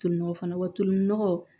Tolinɔgɔ fana watinɔgɔ